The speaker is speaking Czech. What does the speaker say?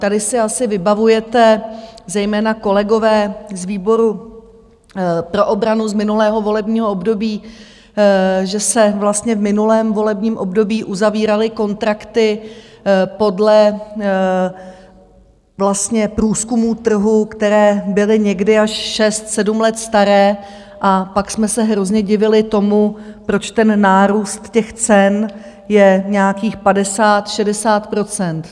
Tady si asi vybavujete, zejména kolegové z výboru pro obranu z minulého volebního období, že se vlastně v minulém volebním období uzavíraly kontrakty podle vlastně průzkumů trhu, které byly někdy až šest sedm let staré, a pak jsme se hrozně divili tomu, proč ten nárůst těch cen je nějakých padesát, šedesát procent.